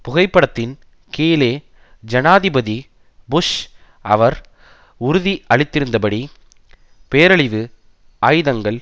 புகைப்படத்தின் கீழே ஜனாதிபதி புஷ் அவர் உறுதி அளித்திருந்தபடி பேரழிவு ஆயுதங்கள்